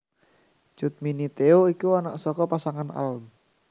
Cut Mini Theo iku anak saka pasangan alm